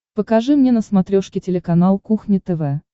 покажи мне на смотрешке телеканал кухня тв